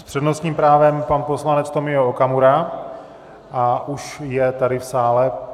S přednostním právem pan poslanec Tomio Okamura a už je tady v sále.